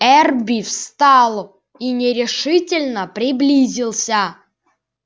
эрби встал и нерешительно приблизился